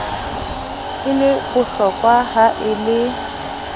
e le bohlokoha e le